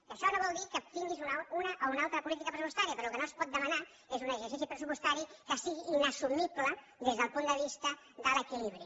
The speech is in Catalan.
que això no vol dir que tinguis una o una altra política pressupostària però el que no es pot demanar és un exercici pressupostari que sigui inassumible des del punt de vista de l’equilibri